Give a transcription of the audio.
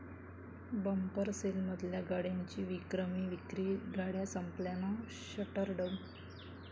bumper सेलमधल्या गाड्यांची विक्रमी विक्री, गाड्या संपल्यानं 'शटरडाऊन'